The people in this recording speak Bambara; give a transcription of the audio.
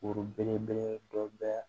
Foro belebele dɔ bɛ